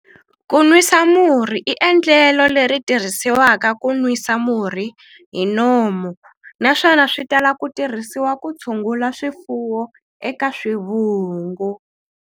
Ku nwisa murhi i endlelo leri tirhisiwaka ku nwisa murhi hi nomu, naswona swi tala ku tirhisiwa ku tshungula swifuwo eka swivungu.